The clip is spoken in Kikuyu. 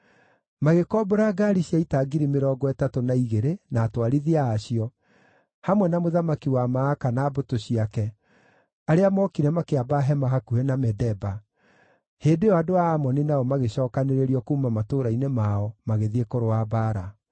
Magĩkombora ngaari cia ita ngiri mĩrongo ĩtatũ na igĩrĩ na atwarithia a cio, hamwe na mũthamaki wa Maaka na mbũtũ ciake, arĩa mookire makĩamba hema hakuhĩ na Medeba; hĩndĩ ĩyo andũ a Amoni nao magĩcookanĩrĩrio kuuma matũũra-inĩ mao, magĩthiĩ kũrũa mbaara.